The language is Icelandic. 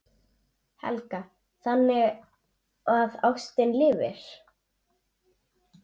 Helga: Þannig að ástin lifir?